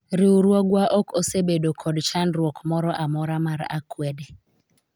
riwruogwa ok osebedo kod chandruok moro amora mar akwede